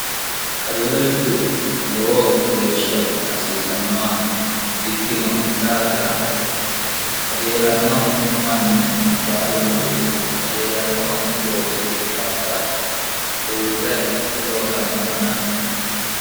qajeelshu lowo geeshsha asiisannowa ikkino daafira qajeelanno manni baalunku qajeelanno loosi daafira uurre loosannowanna